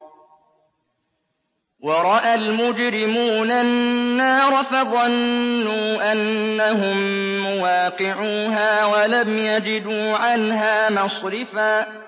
وَرَأَى الْمُجْرِمُونَ النَّارَ فَظَنُّوا أَنَّهُم مُّوَاقِعُوهَا وَلَمْ يَجِدُوا عَنْهَا مَصْرِفًا